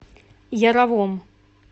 яровом